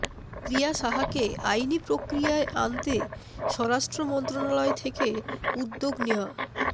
প্রিয়া সাহাকে আইনি প্রক্রিয়ায় আনতে স্বরাষ্ট্র মন্ত্রণালয় থেকে উদ্যোগ নেয়া